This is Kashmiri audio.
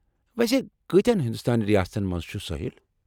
ویسے کٲتہن ہندوستٲنۍ ریاستن منٛز چُھ سٲحِل ؟